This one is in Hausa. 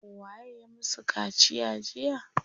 Waye ya musu kaciya jiya?